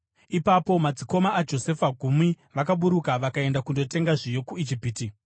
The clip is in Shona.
Ipapo madzikoma aJosefa gumi vakaburuka vakaenda kundotenga zviyo kuIjipiti.